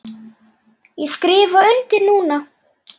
Ég skrifa undir núna.